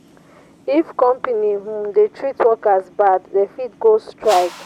if company um dey treat workers bad dem fit go strike.